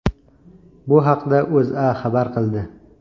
Bu haqda O‘zA xabar qildi .